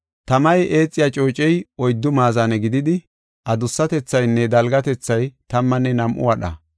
Tamay eexiya coocey oyddu maazane gididi, adussatethaynne dalgatethay tammanne nam7u wadha.